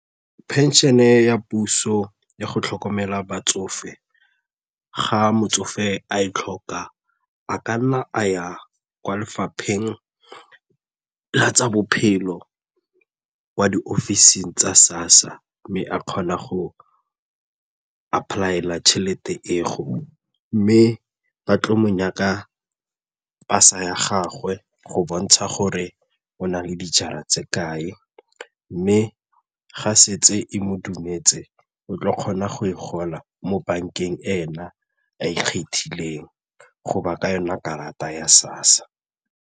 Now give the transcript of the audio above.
Pension-e ya puso ya go tlhokomela batsofe ga motsofe a e tlhoka, a ka nna a ya kwa lefapheng la tsa bophelo kea di ofising tsa SASSA mme a kgona go apply-ela tšhelete eo mme ba tlo mo nyaka pasa ya gagwe go bontsha gore o na le dijara tse kae mme ga e setse e mo dumetse o tla kgona go e gola mo bankeng ena a ikgethileng go ba ka yona karata ya SASSA.